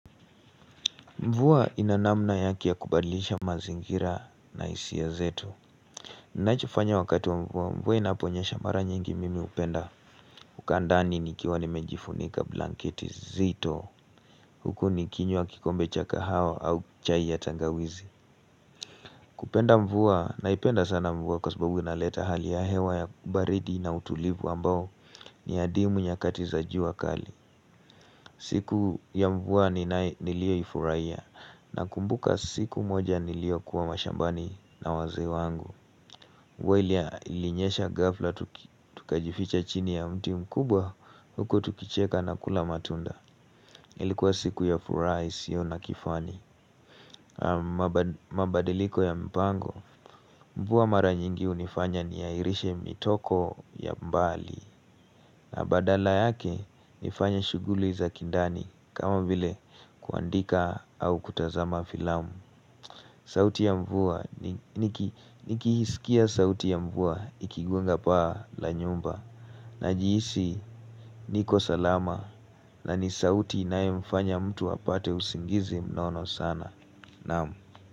Mvua ina namna yake ya kubadlisha mazingira na hisia zetu ninacho fanya wakati wa mvua, mvua inaponyesha mara nyingi mimi upenda Ukaa ndani nikiwa nimejifunika blanket zito Huku nikinywa kikombe cha kahawa au chai ya tangawizi kupenda mvua naipenda sana mvua kwa sababu inaleta hali ya hewa ya baridi na utulivu ambao ni ya dimu nyakati za jua kali siku ya mvua nilio yifuraiya na kumbuka siku moja niliokuwa mashambani na wazee wangu. Mvua ilinyesha gafla tukajificha chini ya mti mkubwa huko tukicheka na kula matunda Ilikuwa siku ya furaha hisio na kifani mabadiliko ya mpango mvua mara nyingi unifanya niairishe mitoko ya mbali na badala yake nifanya shughuli za kindani kama bile kuandika au kutazama filamu sauti ya mvua nikihisikia sauti ya mvua ikigunga paa la nyumba na jiisi niko salama na ni sauti nae mfanya mtu wapate usingizi mnono sana Namu.